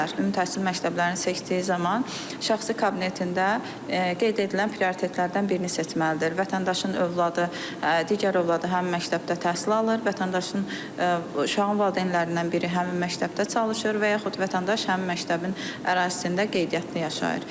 Ümumi təhsil məktəblərini seçdiyi zaman şəxsi kabinetində qeyd edilən prioritetlərdən birini seçməlidir: vətəndaşın övladı digər övladı həmin məktəbdə təhsil alır, vətəndaşın uşağın valideynlərindən biri həmin məktəbdə çalışır və yaxud vətəndaş həmin məktəbin ərazisində qeydiyyatda yaşayır.